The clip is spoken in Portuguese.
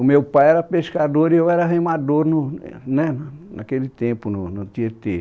O meu pai era pescador e eu era remador no no né naquele tempo no Tietê.